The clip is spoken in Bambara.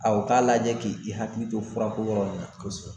A u ka lajɛ ki hakili to fura ko yɔrɔ in na kosɛbɛ.